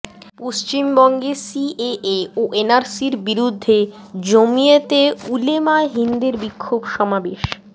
পশ্চিমবঙ্গে সিএএ ও এনআরসির বিরুদ্ধে জমিয়তে উলেমায়ে হিন্দের বিক্ষোভ সমাবেশ